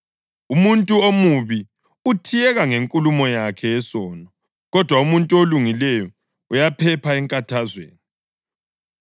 Umuntu omubi uthiyeka ngenkulumo yakhe yesono, kodwa umuntu olungileyo uyaphepha enkathazweni.